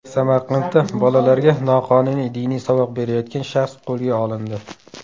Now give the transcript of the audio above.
Samarqandda bolalarga noqonuniy diniy saboq berayotgan shaxs qo‘lga olindi.